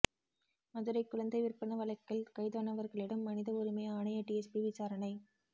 மதுரை குழந்தை விற்பனை வழக்கில் கைதானவர்களிடம் மனித உரிமை ஆணைய டிஎஸ்பி விசாரணை